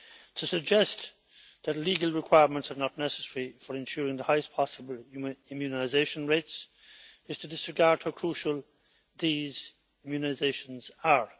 To suggest that legal requirements are not necessary for ensuring the highest possible immunisation rates is to disregard how crucial these immunisations are.